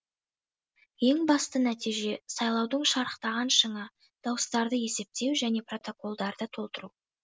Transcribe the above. ең басты нәтиже сайлаудың шарықтаған шыңы дауыстарды есептеу және протоколдарды толтыру